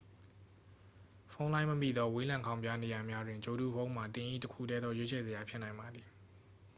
ဖုန်းလိုင်းမမိသော ဝေးလံခေါင်ဖျားနေရာများတွင် ဂြိုလ်တုဖုန်းမှာ သင်၏ တစ်ခုတည်းသော ရွေးချယ်စရာ ဖြစ်နိုင်ပါသည်